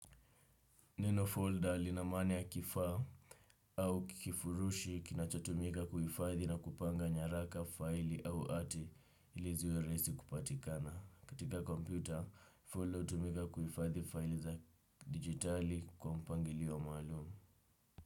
Neno folder lina maana ya kifaa au kifurushi kinachotumika kuhifadhi na kupanga nyaraka, file au ati ili ziwe rahisi kupatikana. Katika kompyuta, folder hutumika kuhifadhi file za digitali kwa mpangilio maalum.